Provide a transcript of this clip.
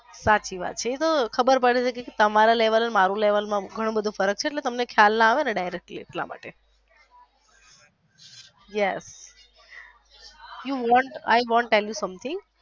સાચી વાત છે એ તો ખબર પડે છે કે તમારા લેવલ ને મારા લેવલ માં ઘણો બધો ફરક છે એટલે તમને directly એટલા માટે yes i want to tell you something.